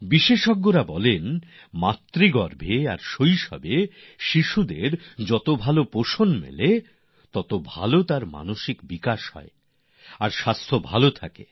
বিশেষজ্ঞরা বলেন যে গর্ভে থাকার সময় আর শৈশবে শিশু যতটা পুষ্টির সুযোগ পাবে ততই ভাল তার মানসিক বিকাশ হবে এবং সে সুস্থ থাকবে